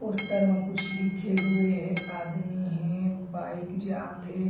Poster म कुछ लिखे हुए हे आदमी हे बाइक जात हे।